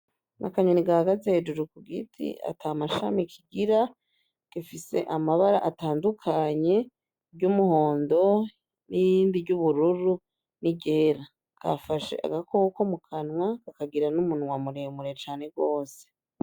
Akanyoni gahagaze hejuru kugiti atamashami kigira gifise amabara atandukanye iry'umuhondo, nirindi ryuburu niryera, gafashe agakoko mukanwa kakagira numunwa muremure cane gose .